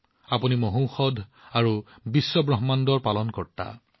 আপুনি সৰ্বশ্ৰেষ্ঠ ঔষধ আৰু আপুনিয়েই এই বিশ্বব্ৰহ্মাণ্ডৰ পালনকৰ্তা